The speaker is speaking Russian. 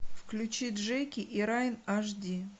включи джеки и райан аш ди